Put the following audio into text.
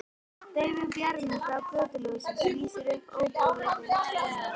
Daufur bjarmi frá götuljósinu lýsir upp óumbúið rúmið.